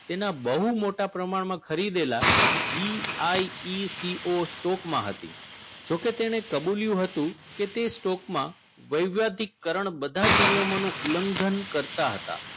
તેના બહુ મોટા પ્રમાણમાં ખરીદેલા GIECOstock હતી જો કે તેને કબુલ્યું હતું કે તે stock માં વૈવિધ્યતિકરણ બધા જ નિયમોનો ઉલ્લંઘન કરતા હતા